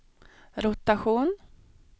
rotation